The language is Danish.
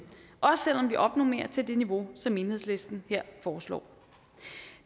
også selv om vi opnormerer til det niveau som enhedslisten her foreslår